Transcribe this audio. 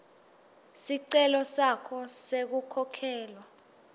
sicelo sakho sekukhokhelwa